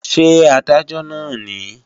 Ṣé Adájọ́ náà nìí?